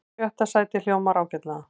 Sjötta sætið hljómar ágætlega